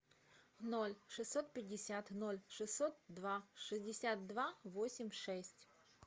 ноль шестьсот пятьдесят ноль шестьсот два шестьдесят два восемь шесть